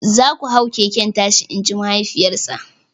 "Za ku hau keken tashi" in ji mahaifiyarsa!